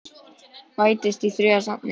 Bætist sá þriðji í safnið?